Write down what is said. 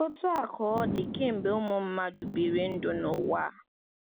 Otú a ka ọ dị kemgbe ụmụ mmadụ biri ndụ n’ụwa.